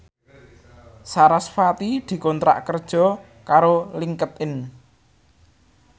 sarasvati dikontrak kerja karo Linkedin